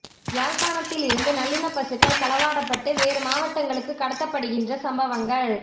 யாழ்ப்பாணத்தில் இருந்து நல்லினப் பசுக்கள் களவாடப்பட்டு வேறு மாவடங்களுக்குக் கடத்தப்படுகின்ற சம்பவங்கள்